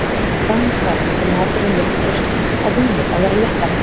að sama skapi sé maturinn léttur, á vínið að vera léttara.